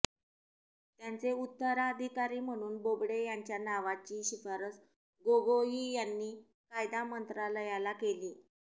त्यांचे उत्तराधिकारी म्हणून बोबडे यांच्या नावाची शिफारस गोगोई यांनी कायदा मंत्रालयाला केली